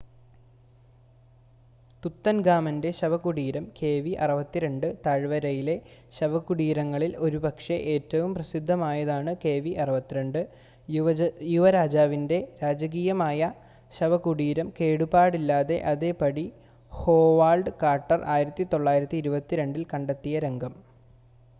തുത്തൻഖാമന്റെ ശവകുടീരം കെവി62. താഴ്‌വരയിലെ ശവകുടീരങ്ങളിൽ ഒരുപക്ഷെ ഏറ്റവും പ്രസിദ്ധമായതാണ് കെവി62 യുവരാജാവിന്റെ രാജകീയമായ ശവകുടീരം കേടുപാടില്ലാതെ അതേപടി ഹോവാർഡ് കാർട്ടർ 1922-ൽ കണ്ടെത്തിയ രംഗം